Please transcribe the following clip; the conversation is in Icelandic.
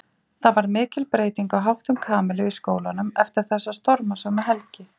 Það varð mikil breyting á háttum Kamillu í skólanum eftir þessa stormasömu helgi.